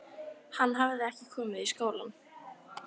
Hann hafði ekki komið í skólann.